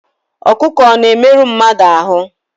Ọkụkụ ọ̀ na-emerụ mmadụ ahụ́?